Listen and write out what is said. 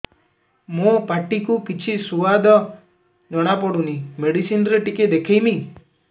ମୋ ପାଟି କୁ କିଛି ସୁଆଦ ଜଣାପଡ଼ୁନି ମେଡିସିନ ରେ ଟିକେ ଦେଖେଇମି